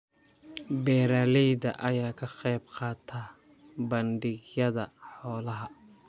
Beeralayda ayaa ka qaybqaata bandhigyada xoolaha.